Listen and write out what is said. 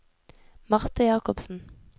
Marthe Jakobsen